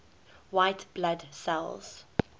white blood cells